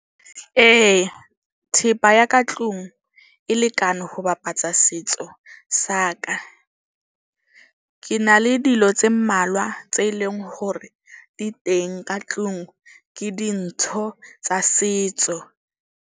Ee, thepa ya ka tlung e lekane ho bapatsa setso sa ka. Ke na le dilo tse mmalwa tse leng hore di teng ka tlung ke dintho tsa setso.